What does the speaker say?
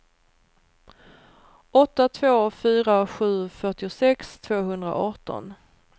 åtta två fyra sju fyrtiosex tvåhundraarton